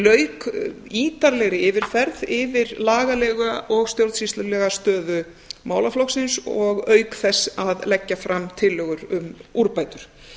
lauk ítarlegri yfirferð yfir lagalega og stjórnsýslulega stöðu málaflokksins auk þess að leggja fram tillögur um úrbætur